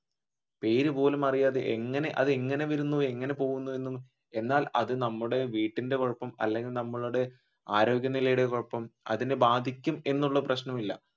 പേര് പോലും അറിയാതെ എങ്ങനെ അത് എങ്ങനെ വരുന്നു എങ്ങനെ പോകുന്നത് എന്നും എന്നാൽ അത് നമ്മുടെ വീടിന്റെ കുഴപ്പം അല്ലെങ്കിൽ നമ്മുടെ ആരോഗ്യനിലയുടെ കുഴപ്പം അതിനെ ബാധിക്കും എന്നുള്ള പ്രശനം ഇല്ല